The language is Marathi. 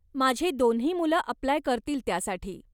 माझी दोन्ही मुलं अप्लाय करतील त्यासाठी.